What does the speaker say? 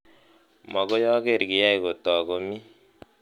Mokoi aker kiyai kotok komii